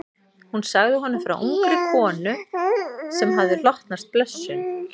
Hún sagði honum frá ungri konu sem hafði hlotnast blessun.